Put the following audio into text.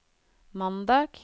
mandag